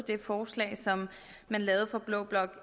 det forslag som man lavede fra blå bloks